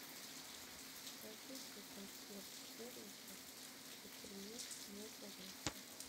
скажите консьерж сервису чтоб принес мне зарядку